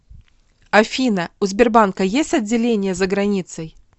афина у сбербанка есть отделения за границей